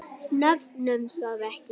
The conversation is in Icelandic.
Nefnum það ekki.